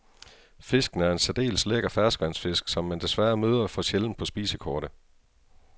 Fisken er en særdeles lækker ferskvandsfisk, som man desværre møder for sjældent på spisekortet.